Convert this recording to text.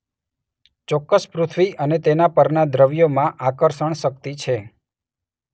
ચોક્કસ પૃથ્વી અને તેના પરના દ્રવ્યોમાં આકર્ષણશક્તિ છે.